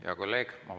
Hea kolleeg!